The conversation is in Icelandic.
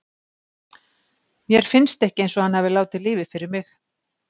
Mér finnst ekki eins og hann hafi látið lífið fyrir mig.